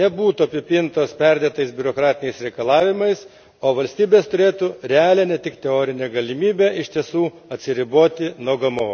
nebūtų apipintos perdėtais biurokratiniais reikalavimais, o valstybės turėtų realią, ne tik teorinę galimybę iš tiesų atsiriboti nuo GMO.